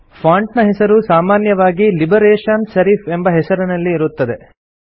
font ನ ಹೆಸರು ಸಾಮಾನ್ಯವಾಗಿ ಲಿಬರೇಷನ್ ಸೆರಿಫ್ ಎಂಬ ಹೆಸರಿನಲ್ಲಿ ಇರುತ್ತದೆ